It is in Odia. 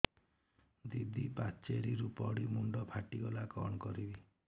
ଦିଦି ପାଚେରୀରୁ ପଡି ମୁଣ୍ଡ ଫାଟିଗଲା କଣ କରିବି